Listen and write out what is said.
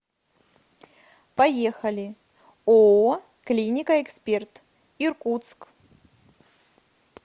поехали ооо клиника эксперт иркутск